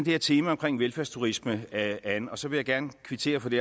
her tema om velfærdsturisme an og så vil jeg gerne kvittere for det